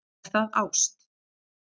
Er það ást?